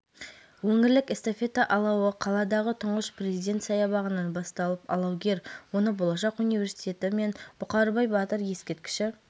бүкіләлемдік қысқы универсиаданың сәтті өтуіне тілектестік білдіреміз бұл кең ауқымды шарада жастық пен достық жеңеді деп үміттенеміз деді облыс әкімі